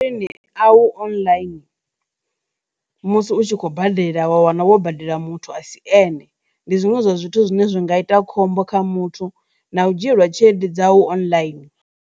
Masheleni a u online musi u tshi khou badela wa wana wo badela muthu asi ene ndi zwiṅwe zwa zwithu zwine zwi nga ita khombo kha muthu na u dzhielwa tshelede dzau online.